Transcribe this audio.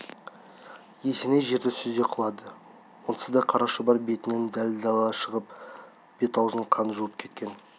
есеней жерді сүзе құлады онсыз да қара шұбар бетінің дал-далы шығыпты бет-аузын қан жуып кеткен